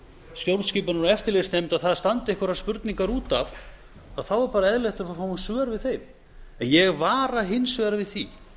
stjórnskipunar og eftirlitsnefnd að þar standi einhverjar spurningar út af þá er bara eðlilegt að fá svör við þeim en ég vara hins vegar við því